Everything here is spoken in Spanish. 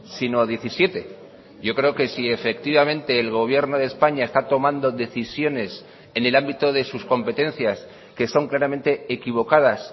sino diecisiete yo creo que si efectivamente el gobierno de españa está tomando decisiones en el ámbito de sus competencias que son claramente equivocadas